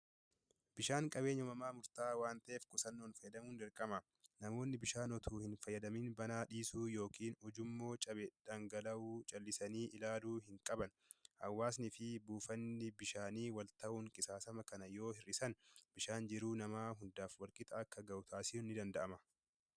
Bishaan qabeenya uumamaa murtaa'aa waan ta'eef, qusannoon fayyadamuun dirqama. Namoonni bishaan otoo hin fayyadamiin banaa dhiisuun yookiin ujummoo cabee dhangala'u callisanii ilaaluu hin qaban. Hawaasnii fi buufanni bishaanii wal ta'uun qisaasama kana yoo hir'isan bishaan jiruu namaaf guddaa walqixa akka gahu taasisuun ni danda'ama.